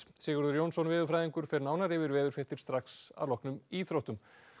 Sigurður Jónsson veðurfræðingur fer nánar yfir veðurfréttir strax að loknum íþróttum